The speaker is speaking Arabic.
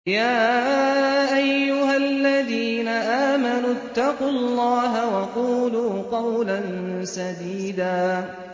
يَا أَيُّهَا الَّذِينَ آمَنُوا اتَّقُوا اللَّهَ وَقُولُوا قَوْلًا سَدِيدًا